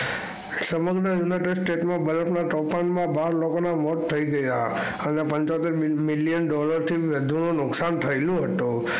સમગ્ર united state માં બરફ ના તોફાન માં બાર લોકો ના મોત થયી ગયા અને પંચોતર મિલિયન થી વધુ લોકો નું નુકસાન થયું હતું.